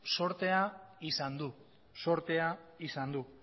zortea izan du